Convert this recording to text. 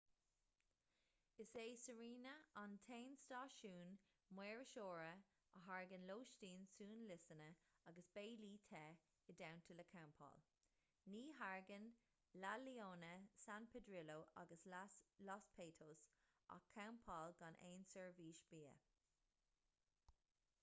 is é sirena an t-aon stáisiún maoirseora a thairgeann lóistín suanliosanna agus béilí te i dteannta le campáil ní thairgeann la leona san pedrillo agus los patos ach campáil gan aon seirbhís bia